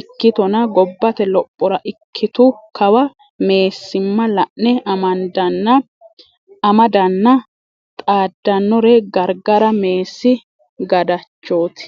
ikkittonna gobbate lophora ikkitu kawa meessima la'ne amadanna xaadanore gargara meessi gadhachoti.